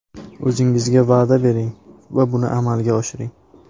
O‘zingizga va’da bering va buni amalga oshiring.